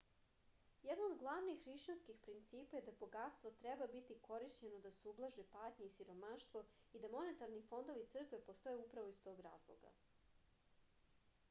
jedno od glavnih hrišćanskih principa je da bogatstvo treba biti korišćeno da se ublaže patnja i siromaštvo i da monetarni fondovi crkve postoje upravo iz tog razloga